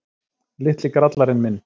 Litli grallarinn minn.